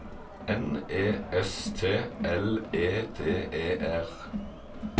N E S T L E D E R